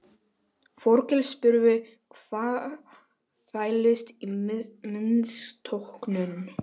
Þórkell spurði hvað fælist í misnotkun.